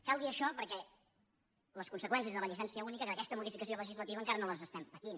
cal dir això per·què les conseqüències de la llicència única d’aquesta modificació legislativa encara no les estem patint